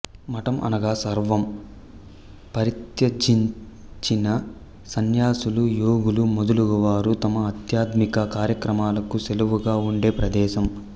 మఠంఅనగా సర్వం పరిత్యజించిన సన్యాసులు యోగులు మొదలగువారు తమ ఆధ్యాత్మిక కార్యక్రమాలకు నెలవుగా ఉండే ప్రదేశం